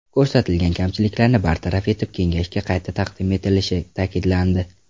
Ko‘rsatilgan kamchiliklarni bartaraf etib kengashga qayta taqdim etilishi ta’kidlandi.